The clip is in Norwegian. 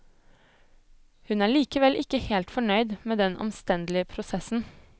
Hun er likevel ikke helt fornøyd med den omstendelige prosessen.